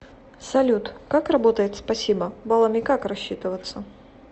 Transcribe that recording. салют как работает спасибо баллами как рассчитываться